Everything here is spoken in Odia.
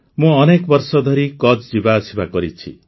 ମୁଁ ଅନେକ ବର୍ଷ ଧରି କଚ୍ଛ୍ ଯିବା ଆସିବା କରିଛି